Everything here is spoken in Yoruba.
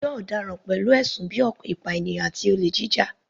Ẹjọ́ ọ̀daràn pẹ̀lú ẹ̀sùn bíi ìpànìyàn àti olè jíjà.